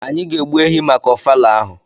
anyi ga egbu ehi maka ofala ahụ.